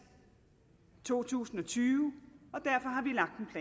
i to tusind og tyve